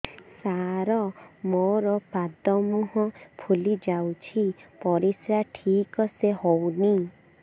ସାର ମୋରୋ ପାଦ ମୁହଁ ଫୁଲିଯାଉଛି ପରିଶ୍ରା ଠିକ ସେ ହଉନି